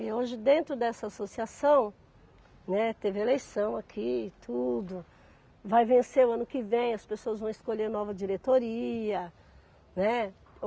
E hoje dentro dessa associação, né, teve eleição aqui e tudo, vai vencer o ano que vem, as pessoas vão escolher nova diretoria, né